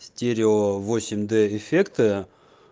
стерео восемь д эффекта